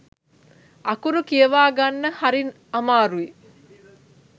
අකුරු කියවා ගන්න හරි අමාරුයි.